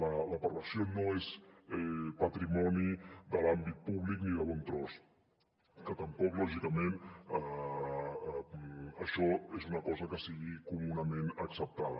la perversió no és patrimoni de l’àmbit públic ni de bon tros que tampoc lògicament això és una cosa que sigui comunament acceptada